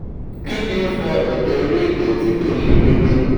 kini o fa eje inu igbe ti ko se deede?